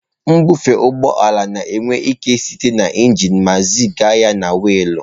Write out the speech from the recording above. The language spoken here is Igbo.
Mbufe ụgbọ ala na-ewe ike site na injin ma ziga ya na weelụ.